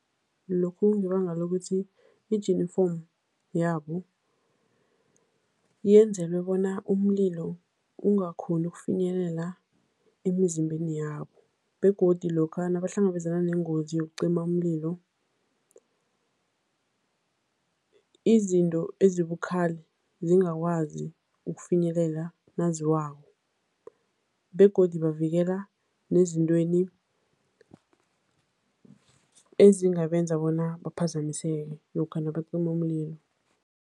Lokhu kungebanga lokuthi ijinifomu yabo yenzelwe bona umlilo ungakghoni ukufinyelela emizimbeni yabo begodi lokha nabahlangabezana nengozi yokucima umlilo, izinto ezibukhali zingakwazi ukufinyelela naziwako begodu bavikela nezintweni ezingabenza bona baphazamiseke lokha nabacima umlilo.